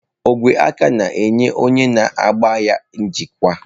Ogwe aka na-enye onye na-agba ya njikwa.